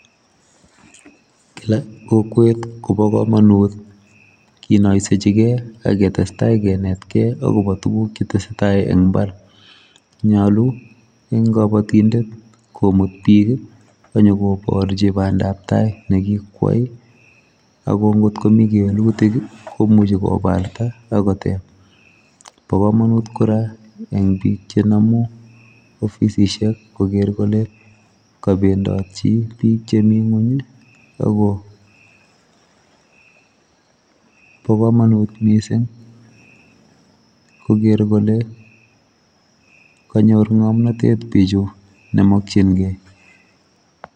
kila kokwet kobakomonut kinoisejigen ak ketestai kenetkei akobo tuguk chetesetai en imbar, ny'olu eng kobotindet komut biik nyokoborji bandab tai negikwai ago ng'ot komi kewelutik komuje kobarta agot, bo komonut kora en bik chenomu ofisisik koger kole kobendotji bik chemi ng'weny ago bo komonut missing ,koger kole, konyor ng'omnotet bivhu nemokyigen.